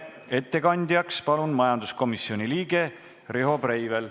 Ettekandjaks palun majanduskomisjoni liikme Riho Breiveli.